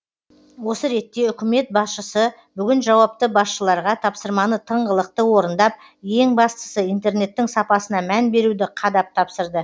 осы ретте үкімет басшысы бүгін жауапты басшыларға тапсырманы тыңғылықты орындап ең бастысы интернеттің сапасына мән беруді қадап тапсырды